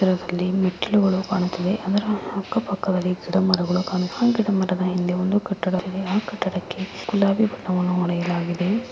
ಇದ್ರಲ್ಲಿ ಮೆಟ್ಲುಗಳು ಕಾಣುತ್ತಿವೆ ಅದ್ರ ಅಕ್ಕ ಪಕ್ಕದಲ್ಲಿ ಗಿಡ ಮರಗಳಿದೆ ಗಿಡ ಮರದ ಹಿಂದೆ ಒಂದು ಕಟ್ಟಡವಿದೆ ಆ ಕಟ್ಟಡಕ್ಕೆ ಗುಲಾಬಿ ಬಣ್ಣವನ್ನು ಹೊಡೆಯಾಗಿಲಾಗಿದೆ.